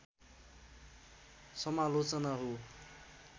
समालोचना हो